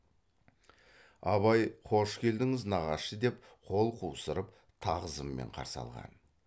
абай қош келдіңіз нағашы деп қол қусырып тағзыммен қарсы алған